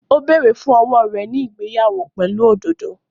Ó bẹ̀rẹ̀ fún owó rẹ̀ ní ìgbéyàwó pẹ̀lú òdòdó